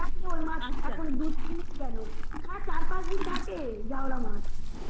দিন গেলো হ্যা মানে চার পাঁচ দিন থাকে জাউলা মাছ